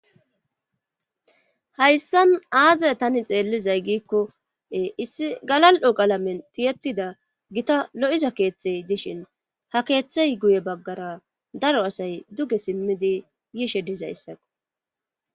hayssan aazay tani xeellizay giikkoe issi galal7o galamen tiyetida gita lo7iza keeththey dishin ha keeththey guye baggara daro asay duge simmidi yiishe dizayssako